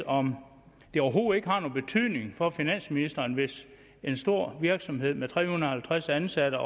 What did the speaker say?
om det overhovedet ikke har nogen betydning for finansministeren hvis en stor virksomhed med tre hundrede og halvtreds ansatte